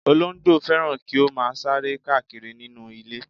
Olóńgbò fẹ́ràn kí ó máa sáré káàkiri nínú ilé.